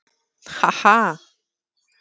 Ha ha!